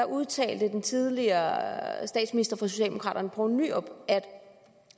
udtalte tidligere statsminister for socialdemokraterne poul nyrup at